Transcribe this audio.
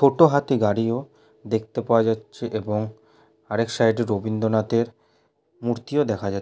টোটো হাতি গাড়িও দেখতে পাওয়া যাচ্ছে এবং আরেক সাইড -এ রবীন্দ্রনাথের মূর্তি ও দেখা যাচ--